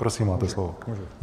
Prosím, máte slovo.